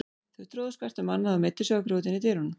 Þau tróðust hvert um annað og meiddu sig á grjótinu í dyrunum.